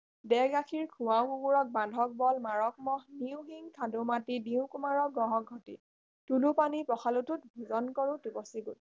দে গাখীৰ খুৱাও কুকুৰক বান্ধক বল মাৰক মহ নিও শিং খান্দো মাটি দিও কুমাৰক ঘঢ়ক ঘটী তোলো পানী পখালো ঠোট ভোজন কৰো টিপচী গোট